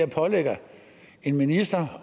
pålægger en minister